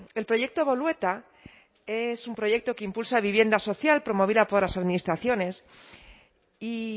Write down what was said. el proyecto bolueta es un proyecto que impulsa vivienda social promovida por las administraciones y